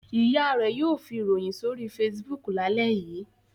Ìyá rẹ̀ yóò fi ìròyìn sórí Facebook lálẹ́ yìí.